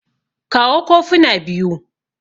kawo kofuna biyu